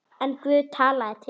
En Guð talaði til hennar.